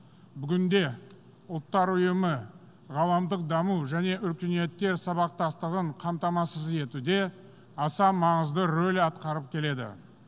бүгінде ұлттар ұйымы ғаламдық даму және өркениеттер сабақтастығын қамтамасыз етуде аса маңызды роль атқарып келеді